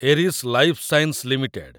Eris lifesciences limited